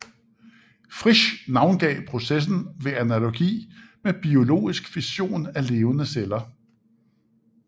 Frisch navngav processen ved analogi med biologisk fission af levende celler